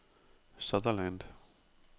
Sutherland